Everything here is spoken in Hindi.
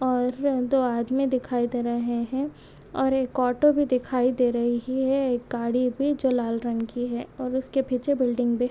--और यह जो आदमी दिखाई दे रहे है और एक ओटो भी दिखाई दे रही है एक गाड़ी भी जो लाल रंग की है इसके पीछे बिल्डिंग भी--